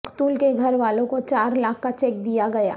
مقتول کے گھر والوں کو چار لاکھ کا چیک دیا گیا